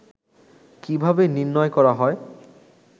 কিভাবে নির্ণয় করা হয়